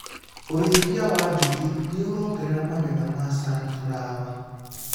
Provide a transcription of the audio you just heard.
ũrĩithia wa njũkĩ nĩũrongerera magetha ma sunflawa.